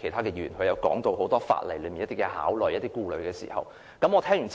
其他議員昨天亦提到很多法例上的考慮和顧慮，我聽完後也是認同的。